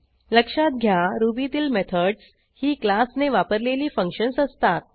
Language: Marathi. लक्षात घ्या रुबीतील मेथडस ही क्लासने वापरलेली फंक्शन्स असतात